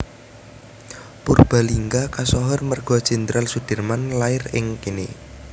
Purbalingga kasohor merga Jenderal Soedirman lair ing kene